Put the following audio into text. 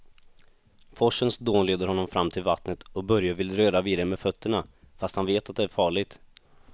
Forsens dån leder honom fram till vattnet och Börje vill röra vid det med fötterna, fast han vet att det är farligt.